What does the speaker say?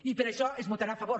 i per això s’hi votarà a favor